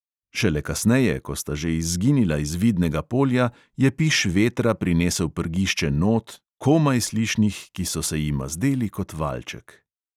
Šele kasneje, ko sta že izginila iz vidnega polja, je piš vetra prinesel prgišče not, komaj slišnih, ki so se jima zdeli kot valček.